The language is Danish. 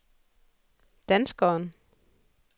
danskeren